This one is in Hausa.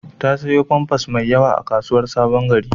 Ta sayo famfas mai yawa a kasuwar Sabon-gari.